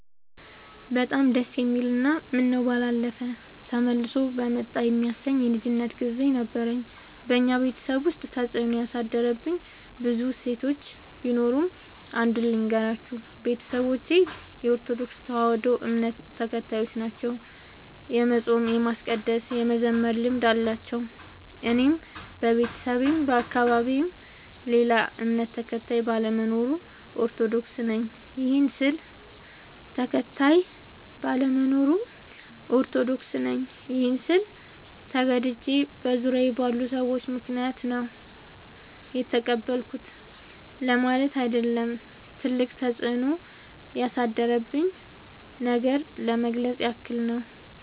በጣም ደስ የሚል እና ምነው ባላለፈ ተመልሶ በመጣ የሚያሰኝ የልጅነት ግዜ ነበረኝ። በኛ ቤተሰብ ውስጥ ተፅዕኖ ያሳደሩብኝ ብዙ እሴቶች ቢኖሩም። አንዱን ልገራችሁ፦ ቤተሰቦቼ የኦርቶዶክስ ተዋህዶ እምነት ተከታዮች ናቸው። የመፃም የማስቀደስ የመዘመር ልምድ አላቸው። እኔም በቤተሰቤም በአካባቢዬም ሌላ እምነት ተከታይ ባለመኖሩ። ኦርቶዶክስ ነኝ ይህን ስል ተገድጄ በዙሪያዬ ባሉ ሰዎች ምክንያት ነው የተቀበልኩት ለማለት አይደለም ትልቅ ተፅኖ ያሳደረብኝን ነገር ለመግለፅ ያክል ነው።